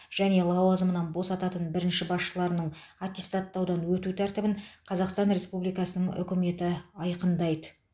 және лауазымынан босататын бірінші басшыларының аттестаттаудан өту тәртібін қазақстан республикасының үкіметі айқындайды